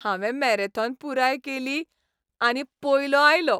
हांवें मॅरेथॉन पुराय केली आनी पयलों आयलों.